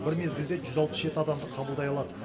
бір мезгілде жүз алпыс жеті адамды қабылдай алады